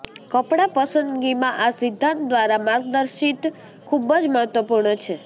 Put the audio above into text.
કપડાં પસંદગીમાં આ સિદ્ધાંત દ્વારા માર્ગદર્શિત ખૂબ જ મહત્વપૂર્ણ છે